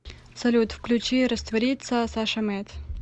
салют включи раствориться саша мэд